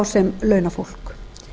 sem launafólk